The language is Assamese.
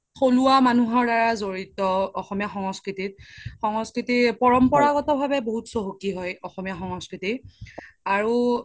থোলুৱা মানুহৰ দাৰা জৰিত অসমীয়া সংস্কৃতিত সংস্কৃতি পাৰাম্পাৰা ভাবে বহুত চহকি হয় অসমীয়া সংস্কৃতি আৰু